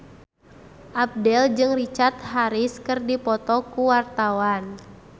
Abdel jeung Richard Harris keur dipoto ku wartawan